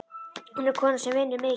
Hún er kona sem vinnur mikið.